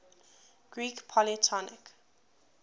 greek polytonic